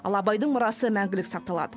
ал абайдың мұрасы мәңгілік сақталады